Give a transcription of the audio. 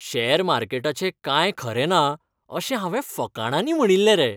Share मार्केटाचें कांय खरें ना अशें हांवें फकांडांनी म्हणिल्लें रे.